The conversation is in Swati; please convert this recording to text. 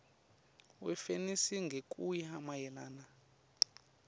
wefenisi ngekuya mayelana